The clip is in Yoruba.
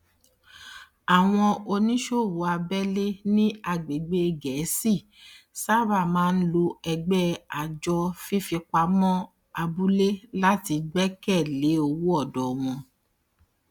àwọn oníṣòwò abẹlé ní agbègbè gẹẹsi sábà máa ń lo ẹgbẹ àjọ fífipamọ abúlé láti gbẹkẹ lé owó ọdọ wọn